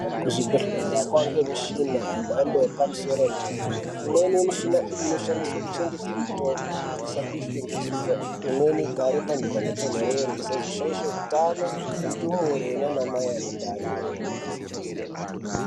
Kuzvibhedhlera kwakuwanikwa mishina yemhando yepamusoro yedera dera imweni Yemushina iyi inoshandiswa kuchengeta mitombo kuti isapishwa ngezuwa imweni igare pantu panotonderera isazoshaisha hutano ndumure nana mai ane ndani.